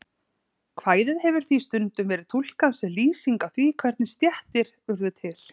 Kvæðið hefur því stundum verið túlkað sem lýsing á því hvernig stéttir urðu til.